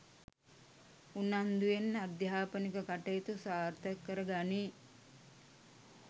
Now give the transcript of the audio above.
උනන්දුවෙන් අධ්‍යාපනික කටයුතු සාර්ථක කරගනී